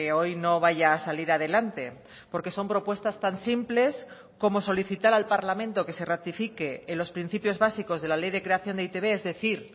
hoy no vaya a salir adelante porque son propuestas tan simples como solicitar al parlamento que se ratifique en los principios básicos de la ley de creación de eitb es decir